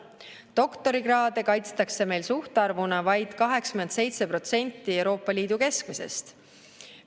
Doktorikraade kaitstakse meil suhtarvuna vaid 87% Euroopa Liidu keskmisest.